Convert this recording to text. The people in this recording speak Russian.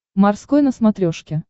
морской на смотрешке